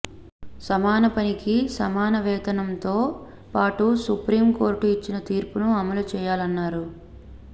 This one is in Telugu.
సమానపనికి సమానవేతనంతో పాటు సుప్రీం కోర్టు ఇచ్చిన తీర్పును అమలు చేయాలన్నారు